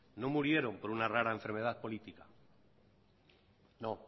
no murieron por una rara enfermedad política no